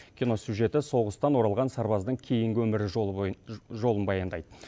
кино сюжеті соғыстан оралған сарбаздың кейінгі өмір жолын баяндайды